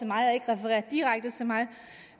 mig og ikke refererer direkte til mig